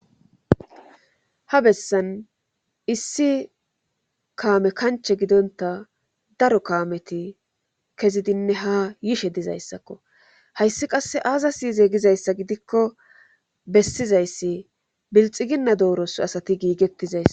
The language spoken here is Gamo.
ha bessan issi kaame kanche gidonta daro kaameti kezidinne ha yishe dizayssakko hayssi qasse aazasinyize gizayssa gidikko bessizayssi bilxiginna dooros asati giigettizaysa